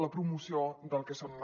la promoció del que són